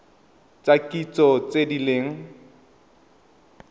tsa kitso tse di leng